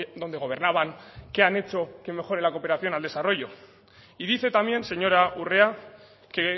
donde gobernaban qué han hecho que mejore la cooperación al desarrollo y dice también señora urrea que